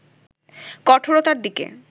কঠোরতার দিকে